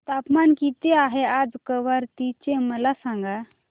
तापमान किती आहे आज कवारत्ती चे मला सांगा